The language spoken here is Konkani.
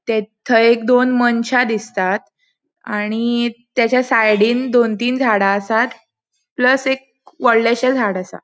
ते थंय एक दोन मनशा दिसतात आणि त्याच्या सायडीन दोन तीन झाडा आसात प्लस एक वडलेशे झाड आसा.